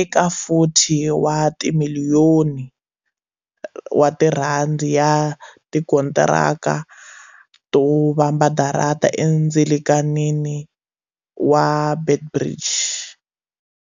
eka R40 wa timiliyoni ya tikontiraka to vamba darata endzilakanini wa Beit Bridge.